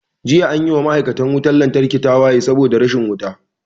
Jiya anyi wa ma'aikatan wutan lantarki tawaye saboda rashin wuta